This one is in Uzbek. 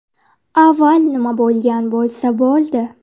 Avval nima bo‘lgan bo‘lsa bo‘ldi.